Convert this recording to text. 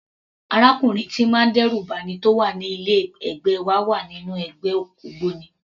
Arákùnrin tíì ń má dẹ́rù ba'ni tó wà ní ilé ẹ̀gbẹ́ wa wà nínú ẹgbẹ́ ògbóni.